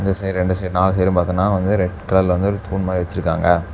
இந்த சைடு ரெண்டு சைடு நாலு சைடு பாத்தாம்னா வந்து ரெட் கலர்ல வந்து ஒரு தூண் மாரி வெச்சிருக்காங்க.